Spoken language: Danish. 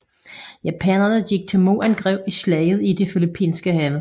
Japanerne gik til modangreb i Slaget i det Filippinske hav